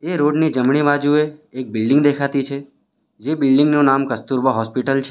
Road ની જમણી બાજુએ એક બિલ્ડીંગ દેખાતી છે જે બિલ્ડીંગ નું નામ કસ્તુરબા હોસ્પિટલ છે.